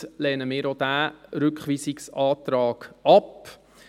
Dementsprechend lehnen wir auch diesen Rückweisungsantrag ab.